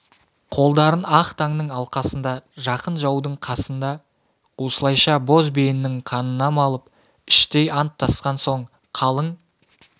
қолдарын ақ таңның алқасында жақын жаудың қасында осылайша боз биенің қанына малып іштей анттасқан соң қалың